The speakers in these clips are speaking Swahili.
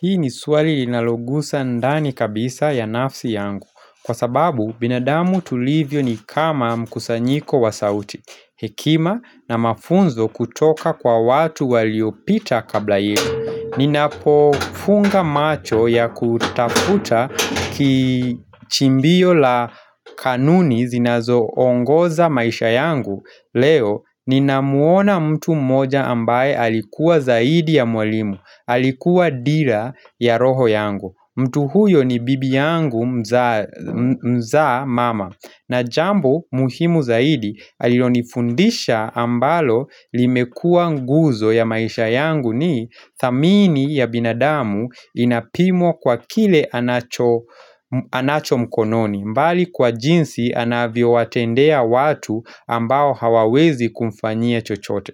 Hii ni swali linalogusa ndani kabisa ya nafsi yangu. Kwa sababu binadamu tulivyo ni kama mkusanyiko wa sauti. Hekima na mafunzo kutoka kwa watu waliopita kabla yetu. Ninapo funga macho ya kutafuta kichimbio la kanuni zinazoongoza maisha yangu leo ninamuona mtu mmoja ambaye alikuwa zaidi ya mwalimu. Alikuwa dira ya roho yangu. Mtu huyo ni bibi yangu mzaa mama. Na jambo muhimu zaidi alionifundisha ambalo limekua nguzo ya maisha yangu ni thamini ya binadamu inapimwa kwa kile anacho mkononi. Mbali kwa jinsi anavyo watendea watu ambao hawawezi kumfanyia chochote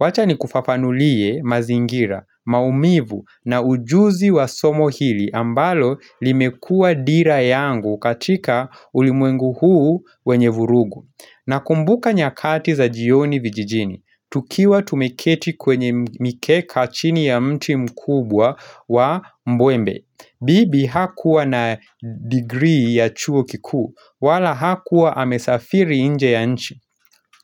wacha nikufafanulie mazingira, maumivu na ujuzi wa somo hili ambalo limekuwa dira yangu katika ulimwengu huu wenye vurugu. Nakumbuka nyakati za jioni vijijini, tukiwa tumeketi kwenye mikeka chini ya mti mkubwa wa mbwembe bibi hakuwa na digrii ya chuo kikuu wala hakuwa amesafiri nje ya nchi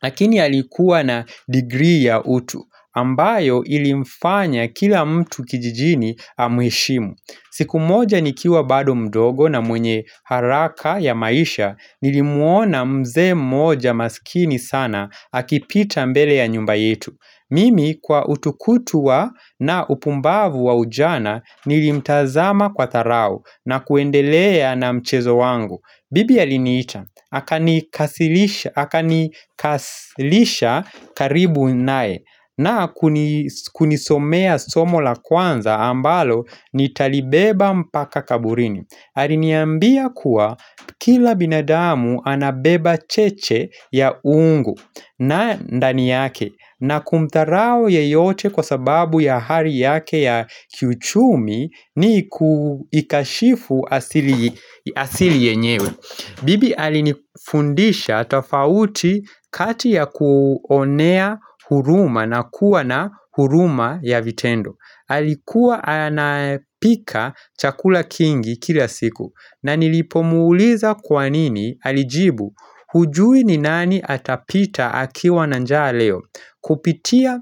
Lakini alikuwa na digrii ya utu ambayo ilimfanya kila mtu kijijini amheshimu. Siku moja nikiwa bado mdogo na mwenye haraka ya maisha nilimuona mzee mmoja masikini sana akipita mbele ya nyumba yetu Mimi kwa utukutu wa na upumbavu wa ujana nilimtazama kwa dharau na kuendelea na mchezo wangu. Bibi aliniita akanikaslisha karibu naye. Na kunisomea somo la kwanza ambalo nitalibeba mpaka kaburini. Aliniambia kuwa kila binadamu anabeba cheche ya uungu. Na ndani yake, na kumdharau yeyote kwa sababu ya hali yake ya kiuchumi ni kuikashifu asili asili yenyewe. Bibi alinifundisha tofauti kati ya kuonea huruma na kuwa na huruma ya vitendo. Alikuwa anapika chakula kingi kila siku na nilipomuuliza kwa nini alijibu hujui ni nani atapita akiwa na njaa leo Kupitia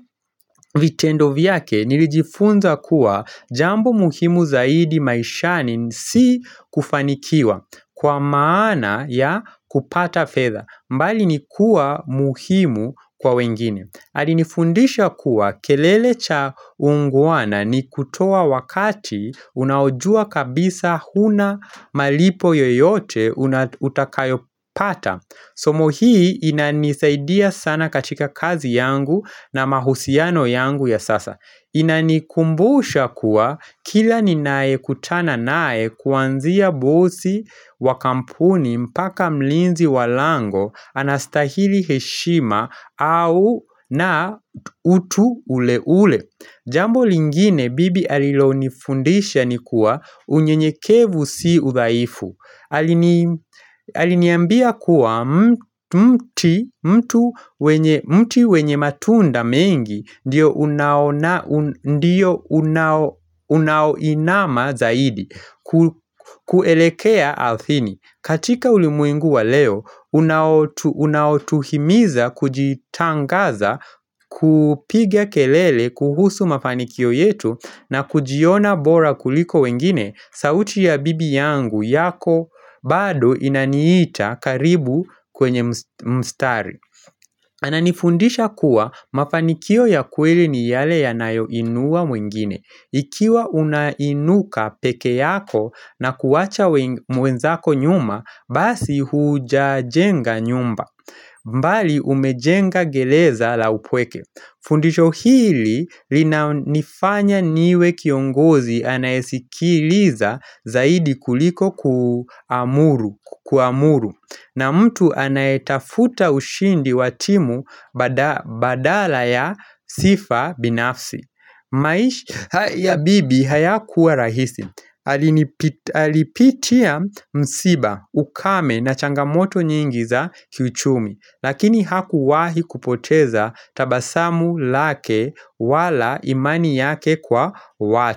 vitendo vyake nilijifunza kuwa jambo muhimu zaidi maishani si kufanikiwa kwa maana ya kupata fedha, bali ni kuwa muhimu kwa wengine. Alinifundisha kuwa kelele cha ungwana ni kutoa wakati unaojua kabisa huna malipo yoyote unatakayopata Somo hii inanisaidia sana katika kazi yangu na mahusiano yangu ya sasa. Inanikumbusha kuwa kila ninayekutana naye kuanzia bosi wa kampuni mpaka mlinzi wa lango anastahili heshima au, na utu ule ule. Jambo lingine bibi alilonifundisha ni kuwa unyenyekevu si udhaifu. Alini Aliniambia kuwa mti wenye matunda mengi ndiyo unaoinama zaidi kuelekea ardhini. Katika ulimwengu wa leo, unaotuhimiza kujitangaza kupiga kelele kuhusu mafanikio yetu na kujiona bora kuliko wengine, sauti ya bibi yangu yako, bado inaniita karibu kwenye mstari. Ananifundisha kuwa mafanikio ya kweli ni yale yanayoinua mwingine. Ikiwa unainuka peke yako na kuwacha mwenzako nyuma, basi hujajenga nyumba. Mbali umejenga gereza la upweke. Fundisho hili linanifanya niwe kiongozi anayesikiliza zaidi kuliko kuamuru na mtu anayetafuta ushindi wa timu badala ya sifa binafsi. Maisha ya bibi hayakuwa rahisi alipitia msiba, ukame na changamoto nyingi za kiuchumi lakini hakuwahi kupoteza tabasamu lake wala imani yake kwa watu.